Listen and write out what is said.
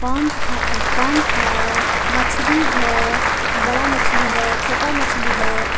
Pump है pump है मछली है बड़ा मछली है छोटा मछली है.